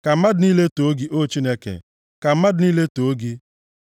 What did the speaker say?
Ka mmadụ niile too gị, O Chineke; ka mmadụ niile too gị.